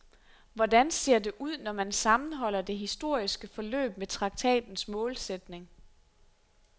Hvordan ser det ud, når man sammenholder det historiske forløb med traktatens målsætning?